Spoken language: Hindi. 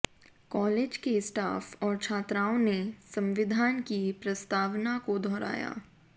कॉलेज के स्टाफ और छात्राओं ने संविधान की प्रस्तावना को दोहराया